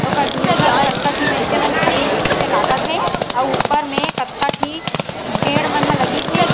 ओकर धुरिया में कतका झी मइनसे मन खड़े हेजिसे लागत हे अउ ऊपर में कतका ठी पेड़ मन ह लगिस हे।